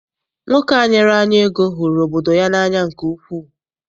Nwoke a nyere anyị ego hụrụ obodo ya n'anya nke ukwuu.